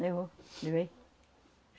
Levou, levei.